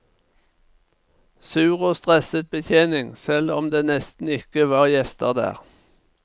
Sur og stresset betjening, selv om det nesten ikke var gjester der.